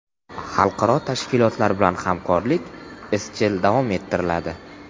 Xalqaro tashkilotlar bilan hamkorlik izchil davom ettiriladi.